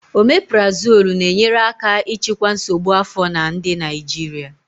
Omeparazolu na-enyere aka ịchịkwa nsogbu afọ na ndị Naijiria.